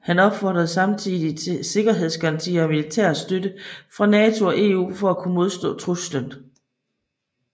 Han opfordrede samtidig til sikkerhedsgarantier og militær støtte fra NATO og EU for at kunne modstå truslen